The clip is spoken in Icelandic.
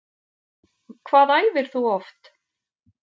Hvað æfir þú oft?